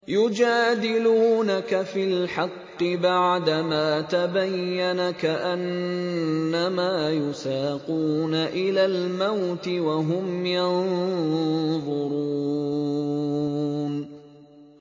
يُجَادِلُونَكَ فِي الْحَقِّ بَعْدَمَا تَبَيَّنَ كَأَنَّمَا يُسَاقُونَ إِلَى الْمَوْتِ وَهُمْ يَنظُرُونَ